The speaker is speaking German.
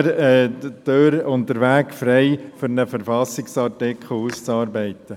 Geben wir den Weg frei, um einen Verfassungsartikel auszuarbeiten!